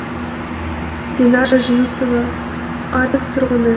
динара жүнісова арыс тұрғыны